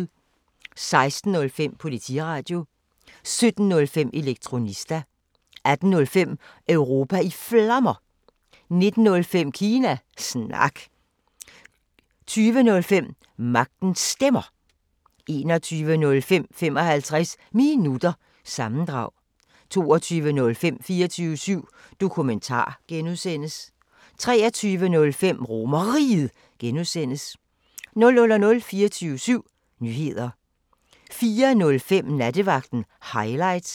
16:05: Politiradio 17:05: Elektronista 18:05: Europa i Flammer 19:05: Kina Snak 20:05: Magtens Stemmer 21:05: 55 Minutter – sammendrag 22:05: 24syv Dokumentar (G) 23:05: RomerRiget (G) 00:00: 24syv Nyheder 04:05: Nattevagten Highlights